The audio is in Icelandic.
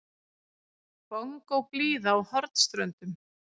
Bongóblíða á Hornströndum.